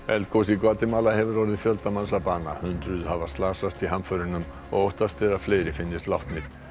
eldgos í Gvatemala hefur orðið fjölda manns að bana hundruð slösuðust í hamförunum og óttast er að fleiri finnist látnir